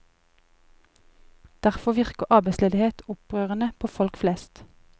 Derfor virker arbeidsledighet opprørende på folk flest.